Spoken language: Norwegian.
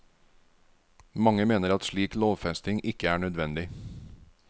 Mange mener at slik lovfesting ikke er nødvendig.